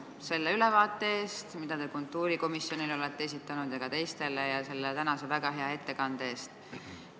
Suur tänu ülevaate eest, mille te kultuurikomisjonile ja ka teistele olete esitanud, samuti tänase väga hea ettekande eest!